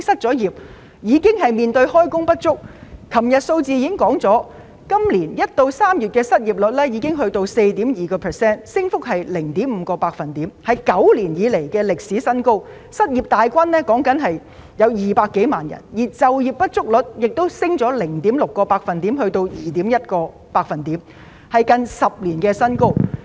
昨天政府公布的數字顯示，今年1月至3月的失業率已上升至 4.2%， 升幅為 0.5 個百分點，屬9年來新高，失業人數增加了2萬多，就業不足率亦上升了 0.6 個百分點，達 2.1%， 屬10年新高。